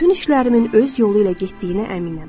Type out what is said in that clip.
Bütün işlərimin öz yolu ilə getdiyinə əminəm.